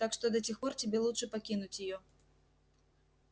так что до тех пор тебе лучше покинуть её